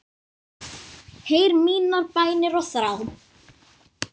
Heyr mínar bænir og þrá.